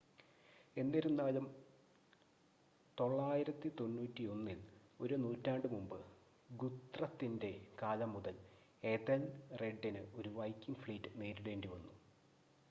എന്നിരുന്നാലും 991-ൽ ഒരു നൂറ്റാണ്ട് മുമ്പ് ഗുത്രത്തിൻ്റെ കാലം മുതൽ എഥെൽറെഡിന് ഒരു വൈക്കിംഗ് ഫ്ലീറ്റ് നേരിടേണ്ടി വന്നു